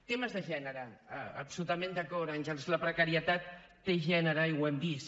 temes de gènere absolutament d’acord àngels la precarietat té gènere i ho hem vist